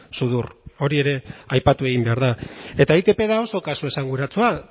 sudur hori ere aipatu egin behar da eta itp da oso kasu esanguratsua